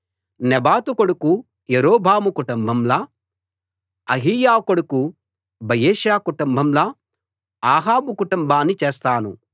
నెబాతు కొడుకు యరొబాము కుటుంబంలా అహీయా కొడుకు బయెషా కుటుంబంలా అహాబు కుటుంబాన్ని చేస్తాను